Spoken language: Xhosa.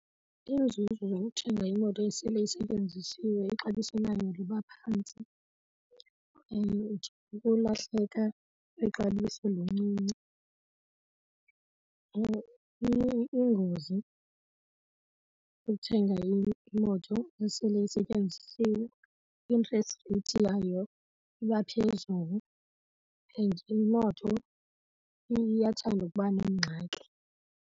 Iinzuzo zokuthenga imoto esele isetyenzisiwe, ixabiso layo liba phantsi and ukulahleka kwexabiso lincinci. Ingozi ukuthenga imoto esele isetyenzisiwe, i-interest rate yayo iba phezulu and imoto iyathanda ukuba neengxaki.